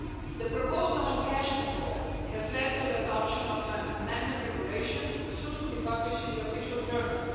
The proposal on cash controls has led to the adoption of an amended regulation, soon to be published in the Official Journal.